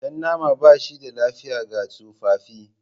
Jan nama ba shi da lafiya ga tsofaffi.